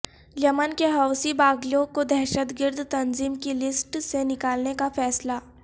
یمن کے حوثی باغیوں کو دہشت گرد تنظیم کی لسٹ سے نکالنے کا فیصلہ